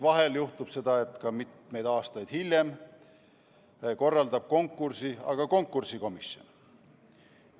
Vahel juhtub aga, et mitmeid aastaid hiljem korraldab konkursi konkursikomisjon.